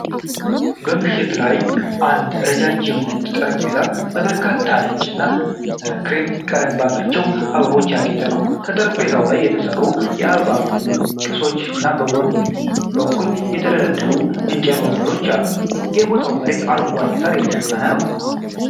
በምሽት ላይ አንድ ረዣዥም ነጭ ጠረጴዛ በበርካታ ነጭ እና ክሬም ቀለም ባላቸው አበባዎች ያጌጠ ነው። ከጠረጴዛው በላይ የተሰሩ የአበባ ቅስት እና በጎን በኩል የተደረደሩ የእንጨት ወንበሮች አሉ። የቦታው መሬት በአረንጓዴ ሳር የተሸፈነ ነው፡፡